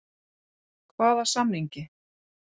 Hvaða samningi?